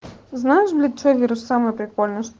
знаешь где что вирус самый прикол